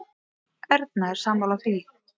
Erna er sammála því.